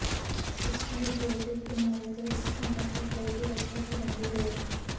system ਉਦਯੋਗਿਕ ਇਮਾਰਤ ਵਿੱਚ ਸਥਾਨਕ ਖੇਤਰ ਦੀ ਰੱਖਿਆ ਕਰਨ ਦੀ ਲੋੜ ਹੈ